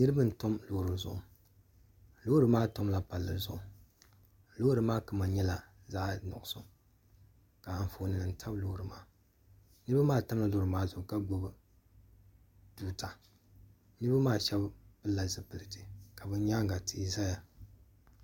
niriba n tabi pali zuɣ' lori maa tamila pali zʋɣ' lori maa kama nyɛla zaɣ' kugisu ka anƒɔnim tabi lori maa yino maa tamila lori maa ka salo maa shɛbi pɛla zibilitɛ ka be nyɛŋa tihi zaya